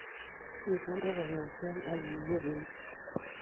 Ibure kogeng'eet ak akiyebe iit